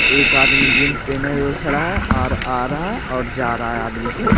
एक आदमी जींस पहने हुए खड़ा है और आ रहा है और जा रहा है आदमी सब।